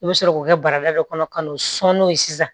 I bɛ sɔrɔ k'o kɛ barada dɔ kɔnɔ ka n'o sɔn n'o ye sisan